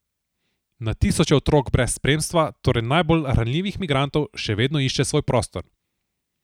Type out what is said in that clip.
Na tisoče otrok brez spremstva, torej najbolj ranljivih migrantov, še vedno išče svoj prostor.